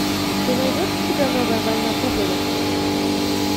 ты найдешь у себя новая война пуговиц